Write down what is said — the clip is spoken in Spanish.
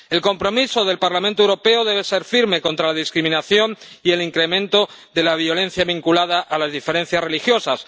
El compromiso del Parlamento Europeo debe ser firme contra la discriminación y el incremento de la violencia vinculada a las diferencias religiosas.